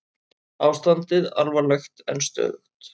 Ástandið alvarlegt en stöðugt